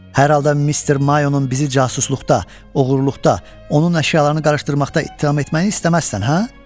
Hər halda Mister Mayonun bizi casusluqda, oğurluqda, onun əşyalarını qarışdırmaqda ittiham etməyini istəməzsən, hə?